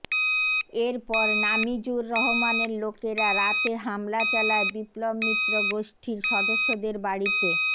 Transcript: এর পর নামিজুর রহমানের লোকেরা রাতে হামলা চালায় বিপ্লব মিত্র গোষ্ঠীর সদস্যদের বাড়িতে